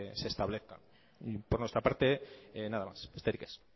se establezca por nuestra parte nada más besterik ez